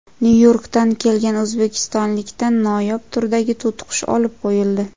Nyu-Yorkdan kelgan o‘zbekistonlikdan noyob turdagi to‘tiqush olib qo‘yildi.